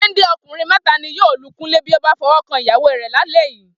Géńdé ọkùnrin mẹ́ta ni yóò lu Kúnlé bí ó bá fọwọ́ kan ìyàwó rẹ̀ lálẹ́ yìí.